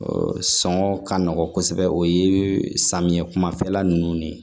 sɔngɔ ka nɔgɔn kosɛbɛ o ye samiya kumafɛla nunnu de ye